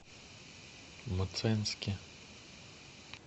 мценске